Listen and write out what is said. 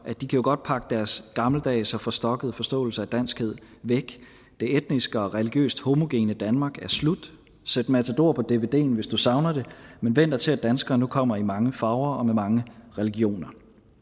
de kan godt pakke deres gammeldags og forstokkede forståelse af danskhed væk det etniske og religiøst homogene danmark er slut sæt matador på dvden hvis du savner det men væn dig til at danskere nu kommer i mange farver og med mange religioner